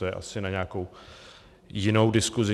To je asi na nějakou jinou diskusi.